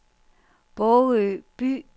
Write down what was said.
Bogø By